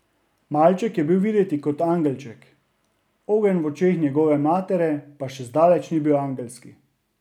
Malček je bil videti kot angelček, ogenj v očeh njegove matere pa še zdaleč ni bil angelski.